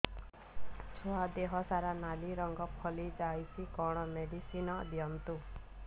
ଛୁଆ ଦେହ ସାରା ନାଲି ରଙ୍ଗର ଫଳି ଯାଇଛି କଣ ମେଡିସିନ ଦିଅନ୍ତୁ